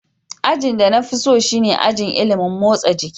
Ajin da na fi so shine ajin ilimin motsa jiki.